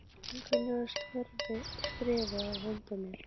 En Gunni var skrefi á undan mér.